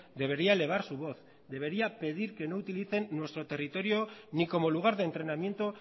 debería elevar su voz debería pedir que no utilicen nuestro territorio ni como lugar de entrenamiento